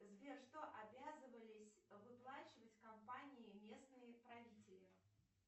сбер что обязывались выплачивать компании местные правители